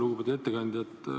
Lugupeetud ettekandja!